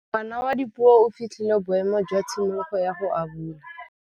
Ngwana wa Dipuo o fitlhile boêmô jwa tshimologô ya go abula.